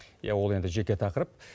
иә ол енді жеке тақырып